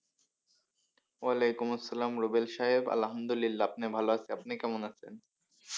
ওয়ালাইকুম আসসালাম রুবেল সাহেব আলহামদুলিল্লাহ আপনি ভালো আছেন আপনি কেমন আছেন?